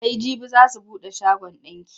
Sai jibi za su buɗe shagon ɗinki.